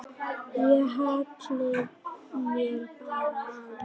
Ég hallaði mér bara aðeins.